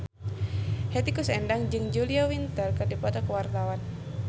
Hetty Koes Endang jeung Julia Winter keur dipoto ku wartawan